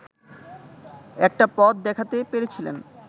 একটা পথ দেখাতে পেরেছিলেন